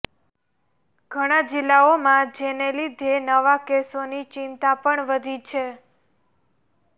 ઘણા જિલ્લાઓમાં જેને લીધે નવા કેસોની ચિંતા પણ વધી છે